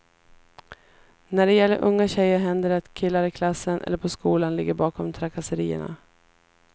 När det gäller unga tjejer händer det att killar i klassen eller på skolan ligger bakom trakasserierna.